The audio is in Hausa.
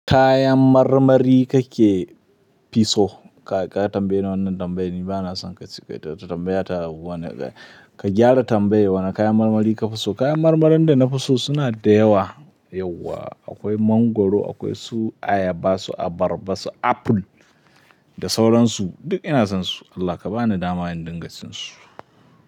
Kayan marmari kake fi so ka tambaye ni wannan tambayar. Ni ba na son kacici, tambaya ta wane ka gyara tambayar. Wane kayan marmari ka fi so? Kayan marmarin da na fi so suna da yawa yauwa. Akwai mangwaro, akwai su ayaba, su abarba, su aful da sauransu. Duk ina son su. Allah ka ba ni daman dinga cin su.